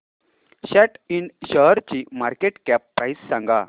सॅट इंड शेअरची market cap price सांगा